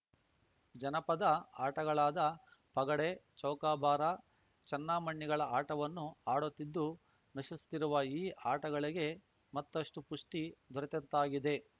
ಜನಪದ ಆಟಗಳಾದ ಪಗಡೆ ಜೌಕಾಬಾರ ಚೆನ್ನಾಮಣ್ಣೆಗಳ ಆಟಗಳನ್ನು ಆಡುತ್ತಿದ್ದು ನಶಿಸುತ್ತಿರುವ ಈ ಆಟಗಳಿಗೆ ಮತ್ತಷ್ಟುಪುಷ್ಟಿದೊರೆತಂತ್ತಾಗಿದೆ